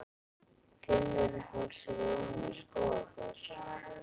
Fimmvörðuháls er ofan við Skógafoss.